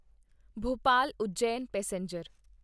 Bhopal Ujjain passenger